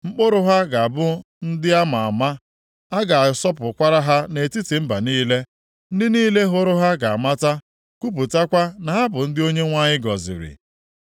Mkpụrụ ha ga-abụ ndị a ma ama, a ga-asọpụkwara ha nʼetiti mba niile. Ndị niile hụrụ ha ga-amata, kwupụtakwa na ha bụ ndị Onyenwe anyị gọziri.”